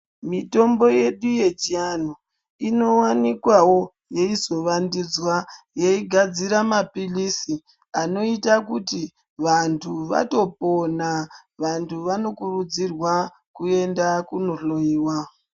Mitombo yedu yechiantu inovanikwavo yeizovandudza. Yeigadzira paphirisi anoita kuti vantu vatopona, vantu vanokurudzirwa kuenda kunohloiwa.